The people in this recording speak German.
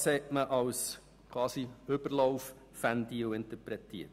Diese hat man als Überlaufventil interpretiert.